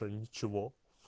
то я ничего